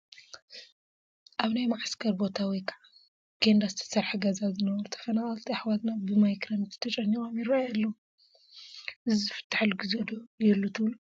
ኣብ ናይ ማዕስከር ቦታ ወይ ከዓ ብኬንዳ ዝተሰርሐ ገዛ ዝነብሩ ተፈናቐልቲ ኣሕዋትና ብማይ ክረምቲ ተጨኒቆም ይረአዩ ኣለው፡፡ እዚ ዝፍተሐሉ ጊዜ ዶ ይህሉ ትብሉ?